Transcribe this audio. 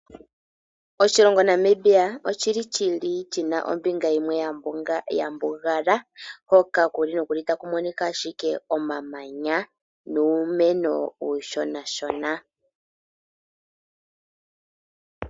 Oshilongo Namibia oshili shili shina ombinga yimwe ya mbugala hoka kuli taku monika ashike omamanya nuumeno uushonashona.